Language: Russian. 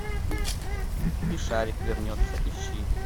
и шарик вернется ищи